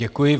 Děkuji.